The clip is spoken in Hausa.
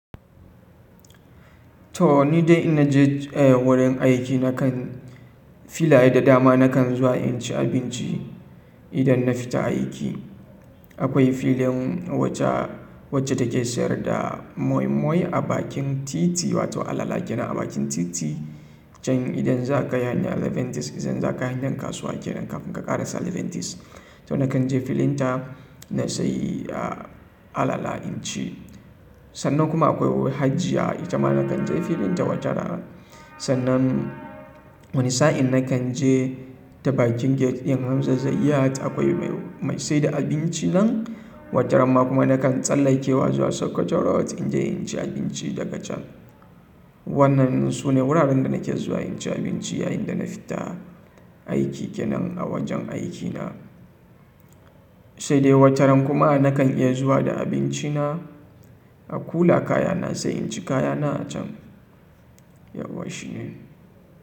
To ni dai in naje wurin aiki na kan filaye da dama na kan zuwa in ci abinci idan na fita aiki. Akwai filin wacce take siyar da moi moi a bakin titi wato alala kenan a bakin titi can idan za ka haye na Seven-Tees idan za ka haye na kasuwa kenan kafin ka ƙara Seven-Tees. To na kan je filin ta na sayi alala in ci. Sannan kuma akwai hajiya ita ma na kan je filin ta wata rana. Sannan wani sa'in na kan je ta bakin gate yan hamza zayyat akwai mai saida abinci nan wata ramma kuma na kan tsallakewa zuwa Sakwato Road in je in ci abinci daga can. Wannan sune wuraren da nake zuwa in ci abinci yayin da na fita aiki kenan a wajen aikina. Sai dai wata ran kuma na kan iya zuwa da abinci na a kula kaya na sai in ci kaya na a can. Yauwa shi ne.